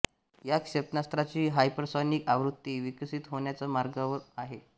या क्षेपणास्त्राची हापरसॉनिक आवृत्ती विकसित होण्याच्या मार्गावर आहे